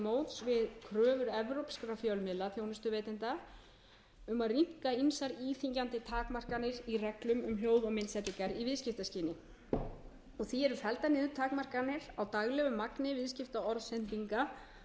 evrópskra fjölmiðlaþjónustuveitenda um að rýmka ýmsar íþyngjandi takmarkanir í reglum um hljóð og myndsendingar í viðskiptaskyni því eru felldar niður takmarkanir á daglegu magni viðskiptaorðsendinga auk